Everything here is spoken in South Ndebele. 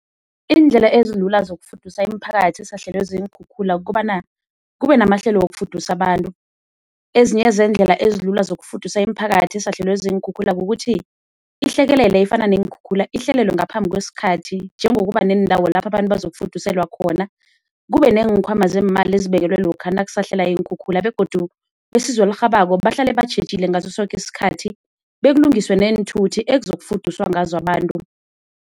Iindlela ezilula zokufudusa imiphakathi esahlelwe ziinkhukhula kukobana kube namahlelo wokufudusa abantu. Ezinye zeendlela ezilula zokufudusa imiphakathi esahlelwe ziinkhukhula kukuthi ihlekelele efana neenkhukhula ihlelelwe ngaphambi kwesikhathi njengokuba neendawo lapho abantu bazokufuduselwa khona. Kube neenkhwama zeemali ezibekelwe lokha nakusahlela iinkhukhula begodu besizo elirhabako bahlale batjhejile ngaso soke isikhathi, bekulungiswe neenthuthi ekuzokufuduswa ngazo abantu.